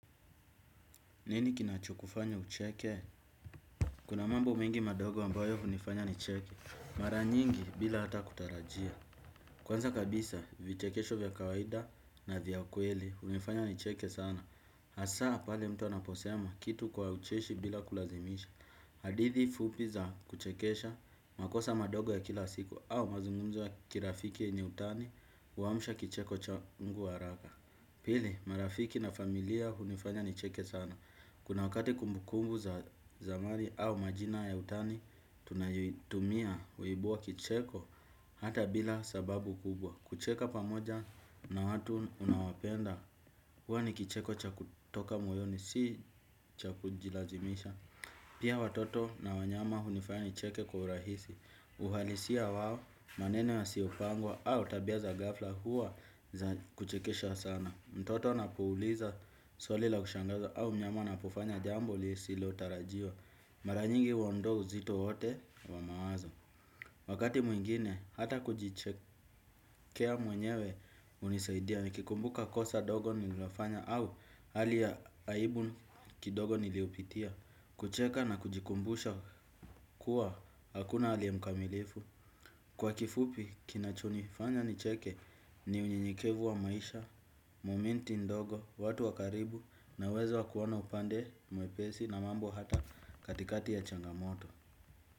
Nini kinachokufanya ucheke? Kuna mambo mengi madogo ambayo hunifanya nicheke. Mara nyingi bila hata kutarajia. Kwanza kabisa, vichekesho vya kawaida na vya ukweli vinifanya nicheke sana. Hasa, pale mtu anaposema kitu kwa ucheshi bila kulazimisha. Hadithi fupi za kuchekesha, makosa madogo ya kila siku, au mazungumzo ya kirafiki yenye utani, huamsha kicheko changu haraka. Pili, marafiki na familia hunifanya nicheke sana. Kuna wakati kumbukumbu za zamani au majina ya utani, tunayotumia huibua kicheko hata bila sababu kubwa. Kucheka pamoja na watu unaowapenda, huwa ni kicheko cha kutoka moyoni, si cha kujilazimisha. Pia watoto na wanyama hunifayani cheke kwa urahisi. Uhalisia wao na maneno yasiyopangwa au tabia za ghafla huwa za kuchekesha sana. Mtoto anapouliza swali la kushangaza au mnyama anapofanya jambo lisilotarajiwa. Mara nyingi huondoa uzito wote wa mawazo. Wakati mwingine, hata kujichekelea mwenyewe hunisaidia. Nikikumbuka kosa dogo nililofanya au hali ya aibu kidogo niliyopitia. Kucheka na kujikumbusha kuwa hakuna aliye mkamilifu. Kwa kifupi kinachonifanya nicheke ni unyenyekevu wa maisha, momenti ndogo, watu wa karibu na uwezo wa kuoana upande mwepesi na mambo hata katikati ya changamoto.